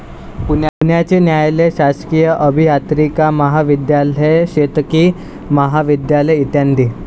पुण्याचे न्यायालय, शासकीय अभियांत्रिकी महाविध्यालय, शेतकी महाविध्यालय, इ.